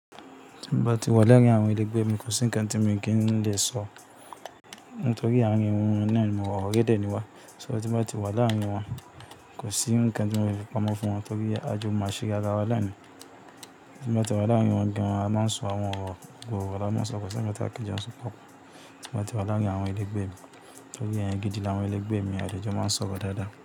Tí n bá ti wà láàárín àwọn ẹlẹgbẹ́ mi kò sí nǹkan tí mo kí ń lè sọ, nítorí àárín wọn náà ni mo wà, ọ̀rẹ́ dẹ̀ ni wa. So tí n báà ti wà láàárín wọn kò sí nǹkan tí mo lè fi pamọ́ fún wọn torí a jọ mọ àṣírí ara wa náà ni. Tí n bá ti wà láàárín wọn gan an a máa ń sọ àwọn ọ̀rọ̀ gbogbo, ọ̀rọ̀ a máa ń sọ kò sí ǹkan tí a kì í jẹ́ ó ń sọ pọ̀. Tí n bá ti wà láàárín àwọn ẹlẹgbẹ́ mi torí èèyàn gidi làwọn ẹlẹgbẹ́ mi a dẹ̀ ń jọ máa ń sọ̀rọ̀ dáadáa.